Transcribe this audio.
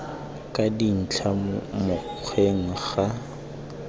ka dintlha mo mokgweng ga